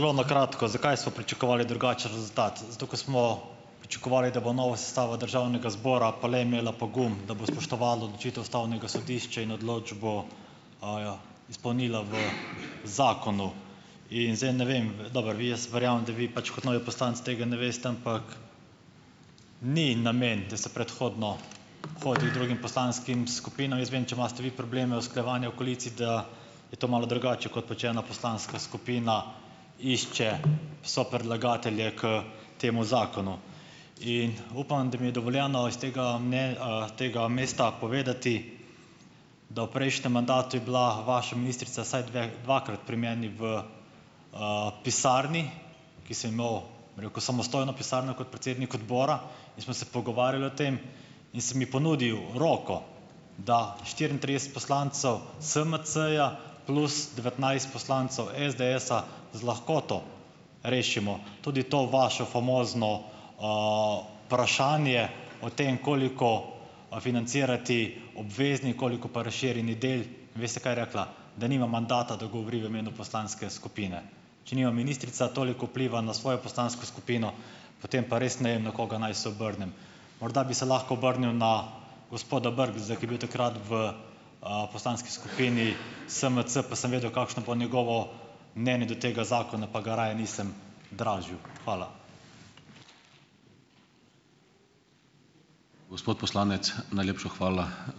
Zelo na kratko, zakaj smo pričakovali drugačen rezultat, zato, ker smo pričakovali, da bo nova sestava državnega zbora pa le imela pogum, da bo spoštovala odločitev ustavnega sodišča in odločbo, aja, izpolnila v zakonu. In zdaj ne vem ... V, dobro, jaz verjamem, da vi pač kot novi poslanec tega ne veste, ampak ni namen, da se predhodno hodi drugim poslanskim skupinam. Jaz vem, če imate vi probleme usklajevanja v koaliciji, da je to malo drugače, kot pa če ena poslanska skupina išče sopredlagatelje k temu zakonu. In upam, da mi je dovoljeno iz tega meni, tega mesta povedati, da v prejšnjem mandatu je bila vaša ministrica vsaj dveh, dvakrat pri meni v, pisarni, ki sem imel, bi rekel, samostojno pisarno kot predsednik odbora, in sva se pogovarjala o tem in sem ji ponudil roko, da štiriintrideset poslancev SMC-ja plus devetnajst poslancev SDS-a z lahkoto rešimo tudi to vašo famozno, vprašanje o tem, koliko, financirati obvezni, koliko pa razširjeni del. Veste, kaj je rekla? Da nima mandata, da govori v imenu poslanske skupine. Če nima ministrica toliko vpliva na svojo poslansko skupino, potem pa res ne vem, na koga naj se obrnem. Morda bi se lahko obrnil na gospoda Brgleza, ko je bil takrat v, poslanski skupini SMC, pa sem vedel, kakšno bo njegovo mnenje do tega zakona, pa ga raje nisem dražil. Hvala.